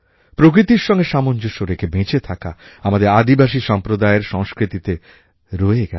প্রকৃতির সঙ্গে সামঞ্জস্য রেখে বেঁচে থাকা আমাদের আদিবাসী সম্প্রদায়ের সংস্কৃতিতে রয়ে গেছে